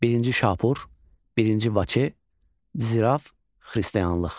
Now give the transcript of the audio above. Birinci Şapur, Birinci Vaçe, Ziraf, Xristianlıq.